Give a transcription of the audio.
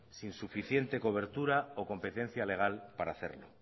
sin suficiente cobertura o competencia legal para hacerla